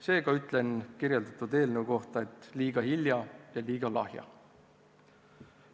Seega ütlen selle eelnõu kohta: liiga hilja ja liiga lahja.